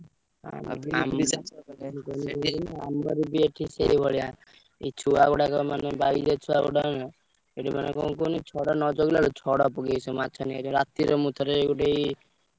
ଏଇ ଛୁଆ ଗୁଡାକ ବାଇରେ ଛୁଆ ଗୁଡା ଏଠି ମାନେ କଣ କୁହନି ରାତିରେ ମୁଁ ଗୋଟେ ଏଇ।